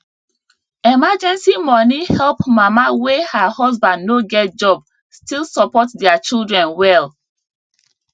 emergency money help mama wey her husband no get job still support their children well